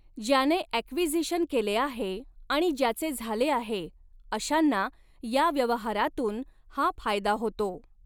ज्याने ॲक्विझिशन केले आहे आणि ज्याचे झाले आहे अशांना या व्यवहारातून हा फायदा होतो.